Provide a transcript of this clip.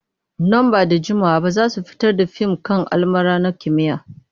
Nan ba da jimawa ba za su fitar da fim kan almara na kimiyya.